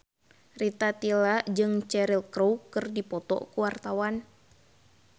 Rita Tila jeung Cheryl Crow keur dipoto ku wartawan